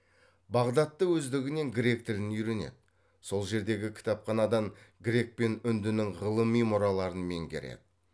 бағдатта өздігінен грек тілін үйренеді сол жердегі кітапханадан грек пен үндінің ғылыми мұраларын меңгереді